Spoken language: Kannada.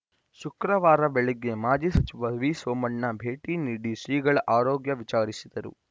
ಶುಕ್ರವಾರ ಬೆಳಿಗ್ಗೆ ಮಾಜಿ ಸಚಿವ ವಿಸೋಮಣ್ಣ ಭೇಟಿ ನೀಡಿ ಶ್ರೀಗಳ ಆರೋಗ್ಯ ವಿಚಾರಿಸಿದರು